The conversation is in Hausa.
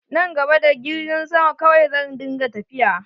Nan gaba, da girgin sama kawai zan dinga tafiya.